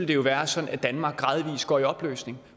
jo være sådan at danmark gradvist går i opløsning